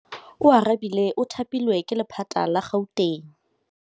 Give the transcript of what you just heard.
Oarabile o thapilwe ke lephata la Gauteng.